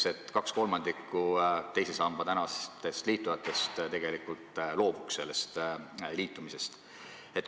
– eeldab, et 2/3 teise sambaga liitunutest loobuks sellest.